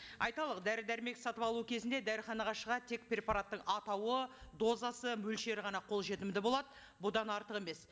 айтарлық дәрі дәрмек сатып алу кезінде тек препараттың атауы дозасы мөлшері ғана қолжетімді болады бұдан артық емес